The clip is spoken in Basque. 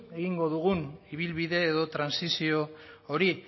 egingo dugun ibilbide edo trantsizio hori